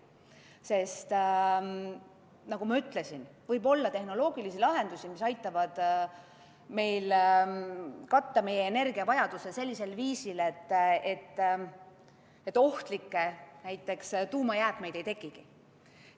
Seda sellepärast, nagu ma ütlesin, et võib olla tehnoloogilisi lahendusi, mis aitavad meil katta meie energiavajaduse sellisel viisil, et ohtlikke jäätmeid, näiteks tuumajäätmeid, ei tekigi.